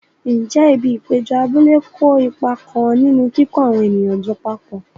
Ǹjẹ́ ibi ìpéjọ abúlé kó ipa kan nínú kíkó àwọn ènìyàn jọ papọ̀?